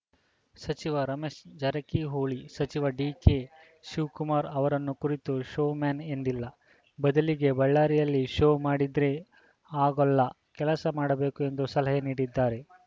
ಸಚಿವ ರಮೇಶ್‌ ಜಾರಕಿಹೊಳಿ ಸಚಿವ ಡಿಕೆಶಿವಕುಮಾರ್‌ ಅವರನ್ನು ಕುರಿತು ಶೋ ಮ್ಯಾನ್‌ ಎಂದಿಲ್ಲ ಬದಲಿಗೆ ಬಳ್ಳಾರಿಯಲ್ಲಿ ಶೋ ಮಾಡಿದ್ರೆ ಆಗೋಲ್ಲಾ ಕೆಲಸ ಮಾಡಬೇಕು ಎಂದು ಸಲಹೆ ನೀಡಿದ್ದಾರೆ